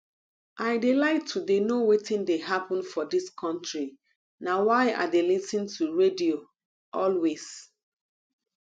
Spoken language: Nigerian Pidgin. i dey like to dey know wetin dey happen for dis country na why i dey lis ten to radio always